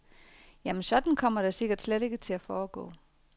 Jamen, sådan kommer det sikkert slet ikke til at foregå.